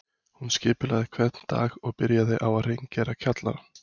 Hún skipulagði hvern dag og byrjaði á að hreingera kjallarann